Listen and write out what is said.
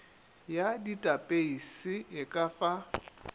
ya datapeise e ka fa